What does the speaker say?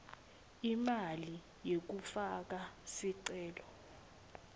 imali yekufaka sicelo